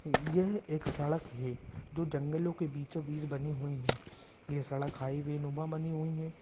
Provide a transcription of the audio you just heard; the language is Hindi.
यह एक सड़क है जो जंगलो के बीचो बीच बनी हुई है ये सड़क हाई वे नूमा बनी हुई है।